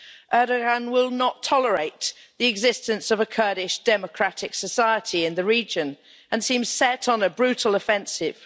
Erdoğan will not tolerate the existence of a Kurdish Democratic Society in the region and seems set on a brutal offensive.